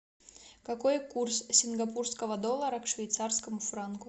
какой курс сингапурского доллара к швейцарскому франку